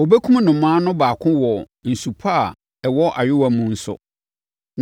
Ɔbɛkum nnomaa no baako wɔ nsu pa a ɛwɔ ayowaa mu so,